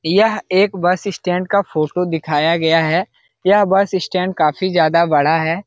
यह एक bus stand का फोटो दिखाया गया है | यह बस स्टैंड काफी ज्यादा बड़ा है ।